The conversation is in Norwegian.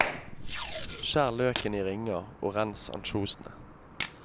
Skjær løken i ringer og rens ansjosene.